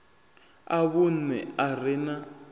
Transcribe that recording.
a vhunṋe a re na